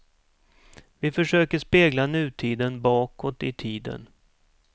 Vi försöker spegla nutiden bakåt i tiden.